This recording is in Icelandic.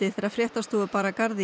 þegar fréttastofu bar að garði